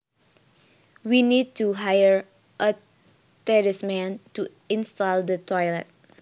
We need to hire a tradesman to install the toilet